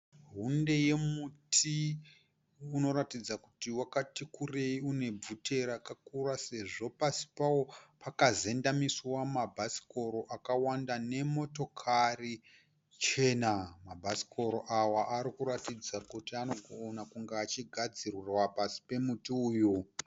Hunde yemuti unoratidza kuti wakati kurei une vhute rakakura sezvo pasi pawo pakazendamiswa mabhasikoro akawanda nemotokari chena. Mabhasikoro awa arikuratidza kuti anogona kunge achigadzirirwa pasi pemuti uyu.